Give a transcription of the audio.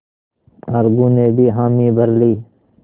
अलगू ने भी हामी भर ली